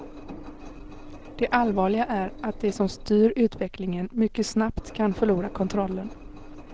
Det allvarliga är att de som styr utvecklingen mycket snabbt kan förlora kontrollen.